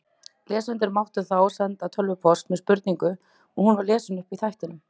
Lesendur máttu þá senda tölvupóst með spurningu og hún var lesin upp í þættinum.